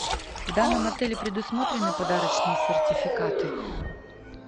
в данном отеле предусмотрены подарочные сертификаты